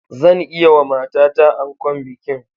Zan yi wa matata ankon bikin